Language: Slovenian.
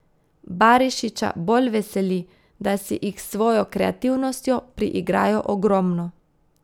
Barišića bolj veseli, da si jih s svojo kreativnostjo priigrajo ogromno.